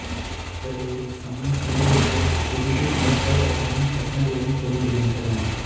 இவர்களுடைய சமயக் கிரியைகள் பெரிதும் விவசாய வட்டங்களின் கட்டங்களுடன் பொருந்துகின்றன